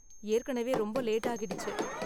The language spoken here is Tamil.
ஏற்கனவே ரொம்ப லேட் ஆகிடுச்சு.